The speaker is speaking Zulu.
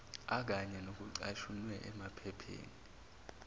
akanye nokucashunwe emaphepheni